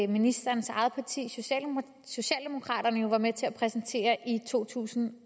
ministerens eget parti socialdemokraterne jo var med til at præsentere i to tusind